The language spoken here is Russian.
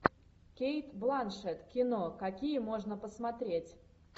кейт бланшетт кино какие можно посмотреть